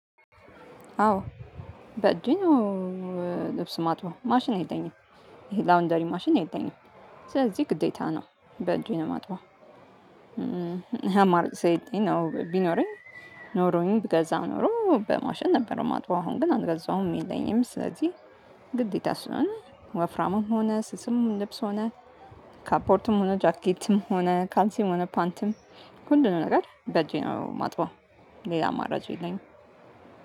አዎ በእጄ ነው። ልብስ ማጥበው ማሽን የለኝም ላውንደሪ ማሽን የለኝም። ስለዚህ ግዴታ ነው በእጄ ነው ማጥበው። አማራጭ ሳይገኝ ቢኖረኝ ኖሮኝ ብገዛ ኖሮ በማሽን ነበረው ማጥበው። አሁን ግን አልገዛሁም የለኝም። ስለዚህ ግዴታ ስለሆነ ወፍራምም ሆነ ስስም ልብስ ሆነ ካፖርትም ሆነ ጃኬትም ሆነ ካልሲም ሆነ ፓንትም ሁሉ ነገር በጄ ነው ማጥበው። ሌላ ማረጃ የለኝም።